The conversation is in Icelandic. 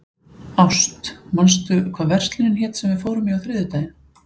Ást, manstu hvað verslunin hét sem við fórum í á þriðjudaginn?